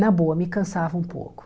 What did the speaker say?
Na boa, me cansava um pouco.